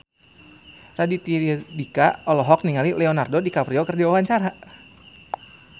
Raditya Dika olohok ningali Leonardo DiCaprio keur diwawancara